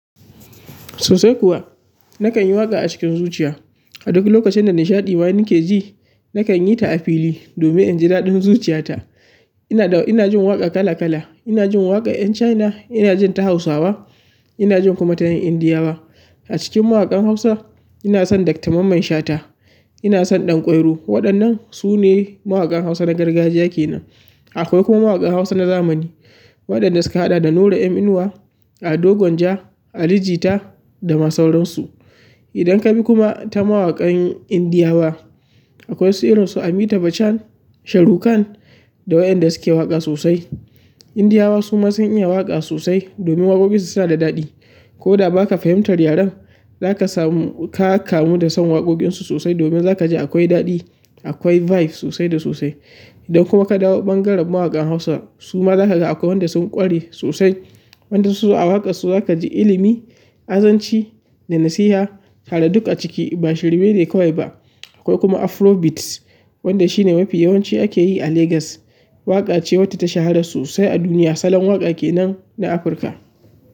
Sosai kuwa. Nakan yi waƙa a cikin zuciya. A duk lokacin da nishaɗi ma nake ji, nakan yi ta a fili domin in ji daɗin zuciyata. Ina da, ina jin waƙa kala kala. Ina jin waƙa ƴen China, ina jin ta Hausawa, ina jin kuma ta ƴan Indiyawa. A cikin mawaƙan Hausa, ina son Dr Mamman Shata, ina son Ɗanƙwairo. Waɗannan su ne mawaƙan Hausa na gargajiya ke nan. Akwai kuma mawaƙan Hausa na zamani waɗanda suka haɗa da Nura M Inuwa, Ado Gwanja, Ali Jita dama sauransu. Idan ka bi kuma ta mawaƙan Indiyawa, akwai siransu Amita Bachchan, Shahrukh Khan da waƴanda suke waƙa sosai. Indiyawa su ma sun iya waƙa sosai domin waƙoƙinsu suna da daɗi. Ko da ba ka fahimtar yaren, za ka samu, ka kamu da son waƙoƙinsu sosai domin za ka ji akwai daɗi, akwai vibe sosai da sosai. Idan kuma ka dawo bangaren mawaƙan Hausa, su ma za ka ga akwai waɗanda sun ƙware sosai. Waɗanda su a waƙarsu za ka ji ilimi, azanci da nasiha tare duk a ciki ba shirme ne kawai ba. Akwai kuma afro beats wanda shi ne mafi yawanci ake yi a Legas. Waƙa ce wadda ta shahara sosai a duniya salon waƙa ke nan na Afirka.